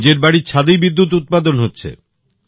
নিজের বাড়ির ছাদেই বিদ্যুৎ উৎপাদন হচ্ছে